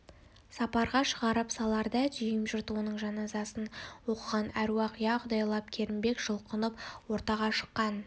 сапарға шығарып саларда дүйім жұрт оның жаназасын оқыған аруақ иә құдайлап керімбек жұлқынып ортаға шыққан